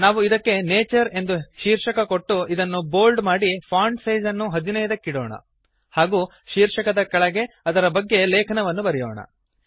ನಾವು ಇದಕ್ಕೆ ನ್ಯಾಚರ್ ಎಂದು ಶೀರ್ಷಕ ಕೊಟ್ಟು ಇದನ್ನು ಬೋಲ್ಡ್ ಮಾಡಿ ಫಾಂಟ್ ಸೈಜ್ ಅನ್ನು 15 ಕ್ಕಿಡೋಣ ಹಾಗೂ ಶೀರ್ಷಕದ ಕೆಳಗೆ ಅದರ ಬಗ್ಗೆ ಲೇಖನವನ್ನು ಬರೆಯೋಣ